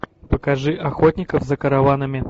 покажи охотников за караванами